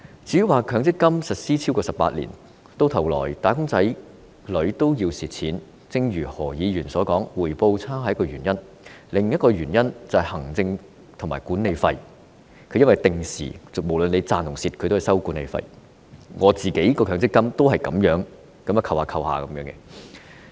至於強積金實施超過18年，到頭來"打工仔女"卻要蝕錢的問題，正如何議員所說，回報差是一個原因，另一個原因是行政費和管理費，不論強積金賺或蝕，基金公司也會定時收取管理費，我的強積金戶口也是這樣久不久便被扣錢的。